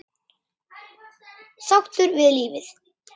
Sáttur við lífið.